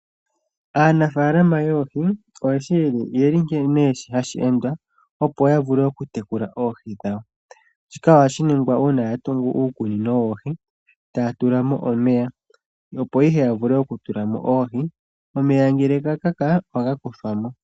Aanafalama yoohi oyeshi nkene hashi endwa opo yavule okutekula oohi dhawo shika ohashi ningwa uuna yatungu uukunino woohi taya tulamo omeya opo ihe yavule okutulamo oohi. Omeya ngele gakaka ohaga kuthwamo.